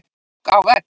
Ók á vegg